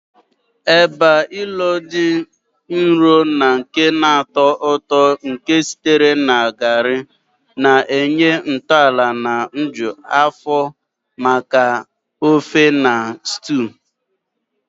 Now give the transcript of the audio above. Eba, ilo dị nro na nke na-atọ ụtọ nke sitere na garri, na-enye ntọala na-eju afọ maka ofe na stews